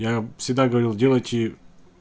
я всегда говорил делайте